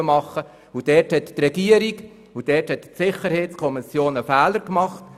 Dort haben die Regierung und die Sicherheitskommission einen Fehler gemacht.